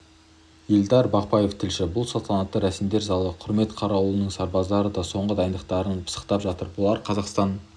елдар бақпаев тілші бұл салтанатты рәсімдерзалы құрмет қарауылының сарбаздары да соңғы дайындықтарын пысықтап жатыр бұлар қазақстан